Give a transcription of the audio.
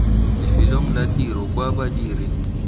lefelong la tiro kwa badiri